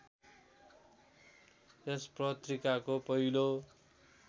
यस पत्रिकाको पहिलो